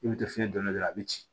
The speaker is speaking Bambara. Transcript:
I bɛ to fiɲɛ donna dɔrɔn a bɛ ci